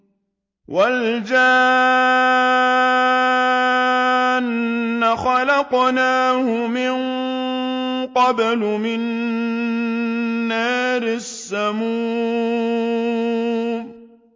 وَالْجَانَّ خَلَقْنَاهُ مِن قَبْلُ مِن نَّارِ السَّمُومِ